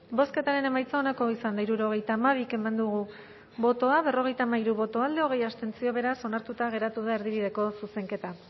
bozketaren emaitza onako izan da hirurogeita hamabi eman dugu bozka berrogeita hamairu boto alde hogei abstentzio beraz onartuta geratu da erdibideko zuzenketa